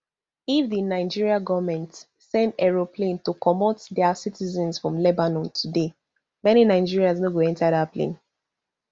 if di nigerian goment send aeroplane to comot dia citizens from lebanon today many nigerians no go enta dat plane